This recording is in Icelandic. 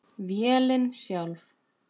Vélin sjálf